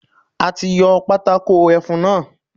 A ti yọ Pátákó ẹfun náà.